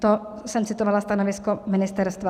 - To jsem citovala stanovisko ministerstva.